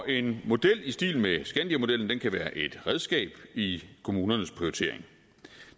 en model i stil med skandiamodellen kan være et redskab i kommunernes prioritering